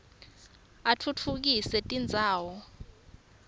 atfutfukisa tindzawo